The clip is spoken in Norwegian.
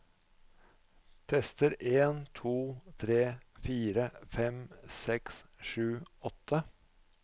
Tester en to tre fire fem seks sju åtte